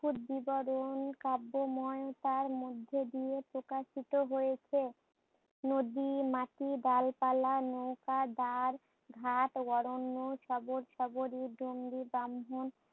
শুদ্ধিকরণ কাব্যময় তার মধ্যে দিয়ে প্রকাশিত হয়েছে। নদির মাটি ডালপালা নৌকার দাঁড়, ঘাট শবত সবরি